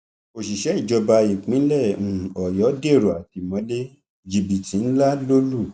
òṣìṣẹ ìjọba ìpínlẹ um ọyọ dèrò àtìmọlé jìbìtì ńlá ló lù